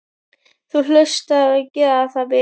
Þú hlaust að gera það, vinur.